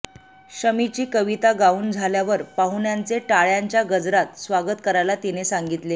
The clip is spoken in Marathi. शमीची कविता गाऊन झाल्यावर पाहुण्यांचे टाळ्यांच्या गजरात स्वागत करायला तिने सांगितले